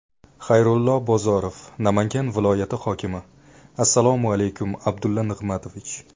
Xayrullo Bozorov, Namangan viloyati hokimi: Assalomu alaykum, Abdulla Nig‘matovich!